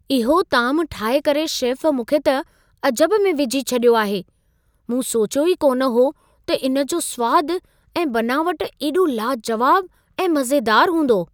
इहो तामु ठाहे करे शेफ़ मूंखे त अजब में विझी छॾियो आहे। मूं सोचियो ई कोन हो त इन जो सुवाद ऐं बनावट एॾो लाजुवाबु ऐं मज़ेदारु हूंदो।